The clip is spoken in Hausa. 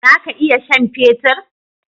Zaka iya sha'n fetur?